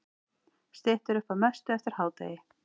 Styttir upp að mestu eftir hádegið